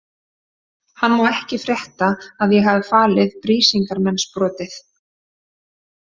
Hann má ekki frétta að ég hafi falið Brísingamensbrotið.